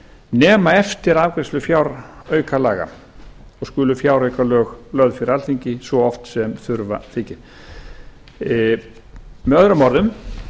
nema eftir afgreiðslu fjáraukalaga og skuli fjáraukalög lögð fyrir alþingi svo oft sem þurfa þykir með öðrum